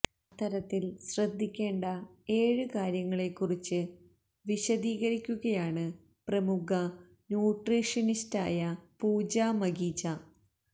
അത്തരത്തില് ശ്രദ്ധിക്കേണ്ട ഏഴ് കാര്യങ്ങളെ കുറിച്ച് വിശദീകരിക്കുകയാണ് പ്രമുഖ ന്യൂട്രീഷ്യനിസ്റ്റായ പൂജ മഖീജ